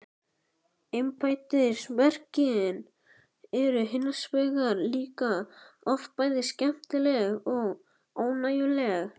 Embættisverkin eru hins vegar líka oft bæði skemmtileg og ánægjuleg.